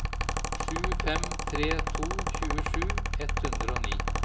sju fem tre to tjuesju ett hundre og ni